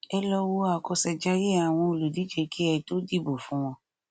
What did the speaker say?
ẹ lọ wo àkọṣejayé àwọn olùdíje kí ẹ tó dìbò fún wọn